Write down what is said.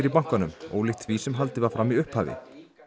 í bankanum ólíkt því sem haldið var fram í upphafi